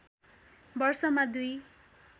वर्षमा दुई